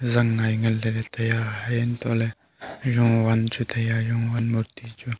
zangngai nganlelay taiya haya untohley jowan chu taiya jowan murti chu.